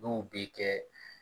N'o bɛ kɛ